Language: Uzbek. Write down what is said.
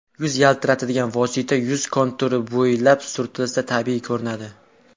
Yuz yaltiratadigan vosita yuz konturi bo‘ylab surtilsa, tabiiy ko‘rinadi.